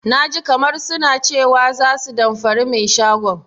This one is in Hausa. Naji kamar suna cewa za su damfari mai shagon.